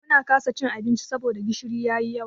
Mun kasa cin abincin saboda gishiri ya yi yawa.